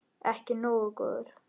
Ekki nógu góður!